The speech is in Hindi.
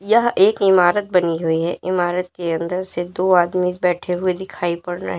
यह एक इमारत बनी हुई है इमारत के अंदर सिर्फ दो आदमी बैठे हुए दिखाई पड़ रहे हैं।